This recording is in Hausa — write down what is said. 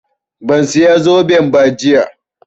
Ban saya zoben ba jiya